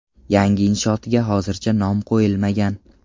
Yangi inshootga hozircha nom qo‘yilmagan.